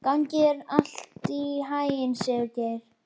Gangi þér allt í haginn, Sigurgeir.